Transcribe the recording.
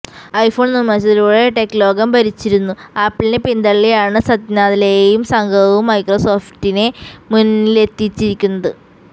iPhone നിര്മ്മാണത്തിലൂടെ tech ലോകം ഭരിച്ചിരുന്നു ആപ്പിളിനെ പിന്തള്ളിയാണ് സത്യനാദല്ലെയും സംഘവും മൈക്രോസോഫ്റ്റിനെ മുന്നിലെത്തിച്ചിരിക്കുന്നത്